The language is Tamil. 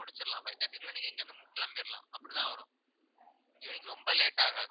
முடிச்சிடலாம் five thirty க்குள்ளே நீங்க இங்கிருந்து மு~ கிளம்பிரலாம் அப்படித்தான் வரும் evening ரொம்ப late ஆகாது